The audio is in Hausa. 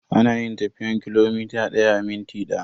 Ana yin tafiyan kilomita daya a minti daya.